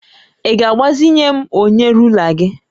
Ị ga-agbazinye m onye rula gị?